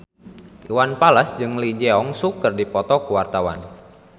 Iwan Fals jeung Lee Jeong Suk keur dipoto ku wartawan